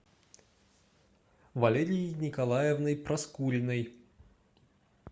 валерией николаевной проскуриной